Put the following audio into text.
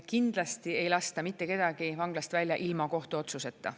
Kindlasti ei lasta mitte kedagi vanglast välja ilma kohtuotsuseta.